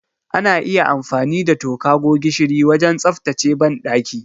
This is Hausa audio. Ana iya amfani da toka ko gishiri wajen tsaftace banɗaki.